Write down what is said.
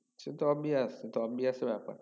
সেতো obeys obeys ব্যাপার